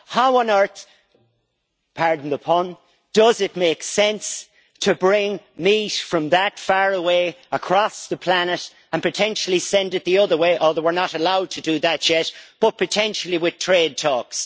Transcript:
How on earth, pardon the pun, does it makes sense to bring meat from that far away across the planet and potentially send it the other way although we are not allowed to do that yet, though potentially with trade talks.